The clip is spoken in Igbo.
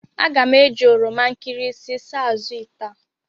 Aga m eji oroma nkịrịsị saa azụ̀ ite a.